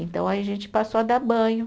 Então, aí a gente passou a dar banho.